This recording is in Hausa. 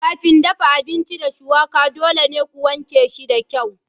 Kafin dafa abinci da shuwaka dole ne ku wanke shi da kyau.